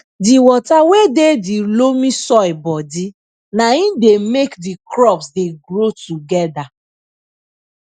di water wey dey de loamy soil bodi na im dey make di crops dey grow togeda